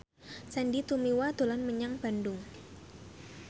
Sandy Tumiwa dolan menyang Bandung